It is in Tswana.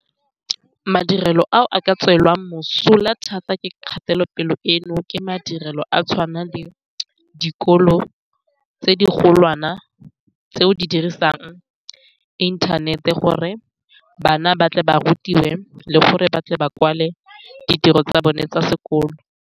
Madirelo a a ka tswelwang mosola thata ke kgatelopele eno ke madirelo a tshwana le dikolo tse di golwana, tseo di dirisang inthanete gore bana ba tle ba rutiwe le gore ba tle ba kwale ditiro tsa bone tsa sekolo.